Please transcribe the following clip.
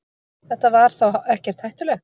Þetta var þá ekkert hættulegt.